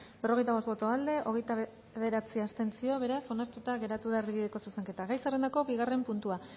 berrogeita bost boto aldekoa hogeita bederatzi abstentzio beraz onartuta geratu da erdibideko zuzenketa gai zerrendako bigarren puntua